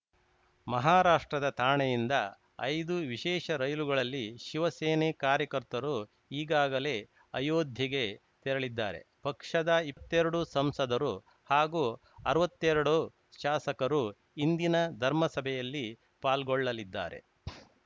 ಮಹಾರಾಷ್ಟ್ರದ ಥಾಣೆಯಿಂದ ಐದು ವಿಶೇಷ ರೈಲುಗಳಲ್ಲಿ ಶಿವಸೇನೆ ಕಾರ್ಯಕರ್ತರು ಈಗಾಗಲೇ ಅಯೋಧ್ಯೆಗೆ ತೆರಳಿದ್ದಾರೆ ಪಕ್ಷದ ಇತ್ತೆರಡು ಸಂಸದರು ಹಾಗೂ ಅರ್ವತ್ತೆರಡು ಶಾಸಕರು ಇಂದಿನ ಧರ್ಮಸಭೆಯಲ್ಲಿ ಪಾಲ್ಗೊಳ್ಳಲಿದ್ದಾರೆ